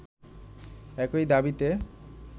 একই দাবিতে